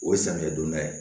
O ye samiyɛ donda ye